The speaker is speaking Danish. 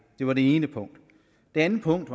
det var det ene punkt det andet punkt